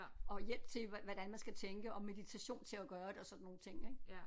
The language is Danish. Og hjælp til hvordan man skal tænke og meditation til at gøre det og sådan nogle ting ik